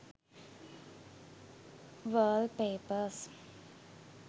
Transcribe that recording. wall papers